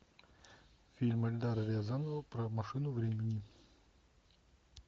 фильм эльдара рязанова про машину времени